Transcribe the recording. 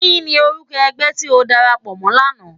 Kini órúkò ègbè ti ó dàrápò mò làná?